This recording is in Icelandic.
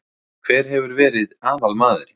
Hver hefur verið aðalmaðurinn?